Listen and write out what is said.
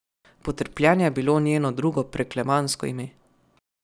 Potrpljenje je bilo njeno drugo preklemansko ime.